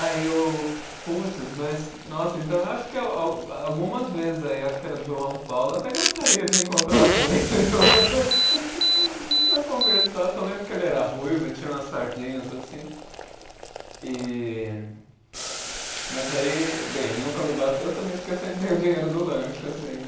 Aí eu, puts, mas, nossa, então acho que algumas vezes aí, acho que era João Paulo, até gostaria de encontrar com ele hoje para conversar, só lembro que ele era ruivo, e tinha umas sardinhas assim, e Mas aí, bem, ele nunca me bateu também porque eu sempre dei o dinheiro do lanche, assim, né?